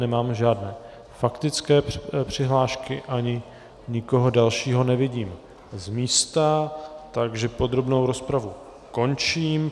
Nemáme žádné faktické přihlášky ani nikoho dalšího nevidím z místa, takže podrobnou rozpravu končím.